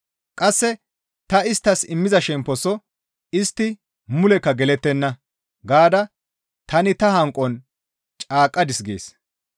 Qasse, ‹Ta isttas immiza shemposo istti mulekka gelettenna!› gaada tani ta hanqon caaqqadis» gees.